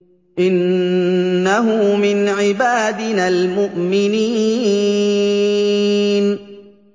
إِنَّهُ مِنْ عِبَادِنَا الْمُؤْمِنِينَ